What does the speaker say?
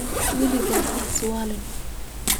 Waligaa haiswalin .